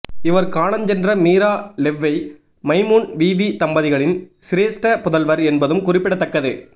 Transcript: இவர் காலஞ்சென்ற மீரா லெவ்வை மைமூன் வீவீ தம்பதிகளின் சிரேஷ்ட புதல்வர் என்பதும் குறிப்பிடத்தக்கது